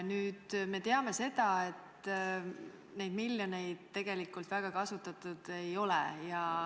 Nüüd me teame, et neid miljoneid tegelikult väga palju kasutatud ei ole.